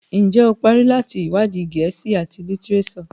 Njé o parí láti iwadi Gèésì at litireso?